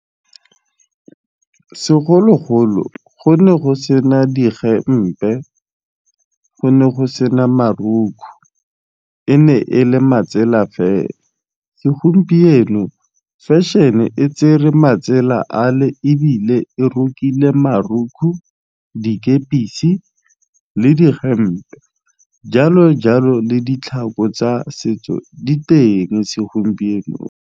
Segologolo go ne go se na digempe go ne go se na marukhu e ne e le matsela fela, segompieno fashion-e tsere matsela ale ebile e rokile marukhu, dikepisi, le digempe jalo jalo le ditlhako tsa setso di teng segompienong.